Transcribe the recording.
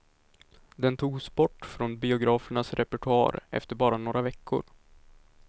Den togs bort från biografernas repertoar efter bara några veckor.